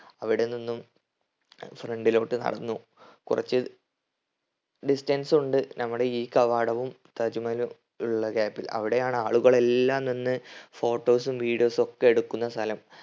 അവിടെ നിന്നും front ലോട്ട് നടന്നു. കുറച്ച് distance ഉണ്ട് നമ്മടെ ഈ കവാടവും താജ് മഹലും ഉള്ള gap ൽ. അവിടെയാണ് ആളുകളെല്ലാം നിന്ന് photos ഉം videos ഉം ഒക്കെ എടുക്കുന്ന സ്ഥലം